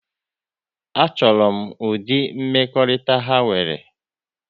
A chọrọ m ụdịrị mmekọrịta ha nwere